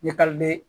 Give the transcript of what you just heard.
Ɲɛtaga bɛ